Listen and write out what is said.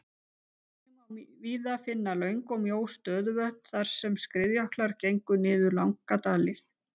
Einnig má víða finna löng og mjó stöðuvötn þar sem skriðjöklar gengu niður langa dali.